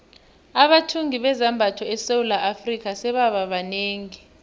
abathungi bezambatho esewula afrika sebaba banengi